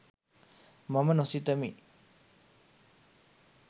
මම නොසිතමි.